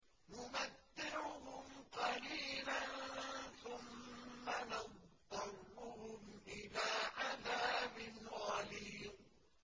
نُمَتِّعُهُمْ قَلِيلًا ثُمَّ نَضْطَرُّهُمْ إِلَىٰ عَذَابٍ غَلِيظٍ